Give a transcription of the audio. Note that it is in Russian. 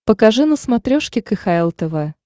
покажи на смотрешке кхл тв